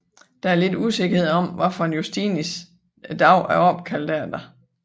Der er lidt usikkerhed om hvilken Justinus dagen er opkaldt efter